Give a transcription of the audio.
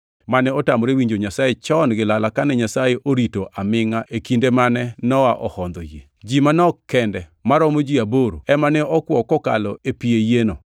mane otamore winjo Nyasaye chon gi lala kane Nyasaye orito amingʼa e kinde mane Nowa hondhoe yie. Ji manok kende maromo ji aboro, ema ne okwo kokalo e pi e yieno.